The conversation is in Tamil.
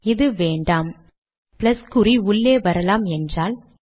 இது வேண்டாம் பிளஸ் குறி உள்ளே வரலாம் என்றால்